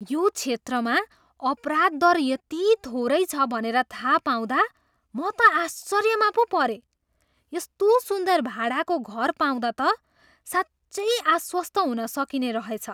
यो क्षेत्रमा अपराध दर यति थोरै छ भनेर थाहा पाउँदा म त आश्चर्यमा पो परेँ! यस्तो सुन्दर भाडाको घर पाउँदा त साँच्चै आश्वस्त हुन सकिने रहेछ।